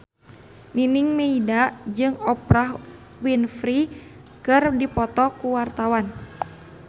Nining Meida jeung Oprah Winfrey keur dipoto ku wartawan